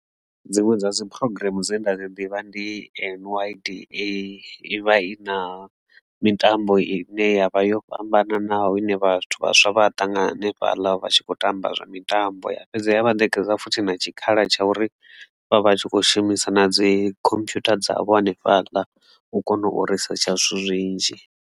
Dziṅwe dza dzi program dzine nda dzi ḓivha ndi N_Y_D_A i vha i na mitambo i ne ya vha yo fhambananaho ine vhathu vhaswa vha ṱangana hanefhaḽa vha tshi khou tamba zwa mitambo ya fhedzi ya vhanekedza futhi na tshikhala tsha uri vha vha tshi kho shumisa na dzi computer dzavho hanefhaḽa u kone u risetsha zwithu zwinzhi.